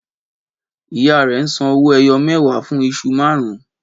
Ìyá rẹ ńsan owó ẹyọ mẹwa fún iṣu márùn-ún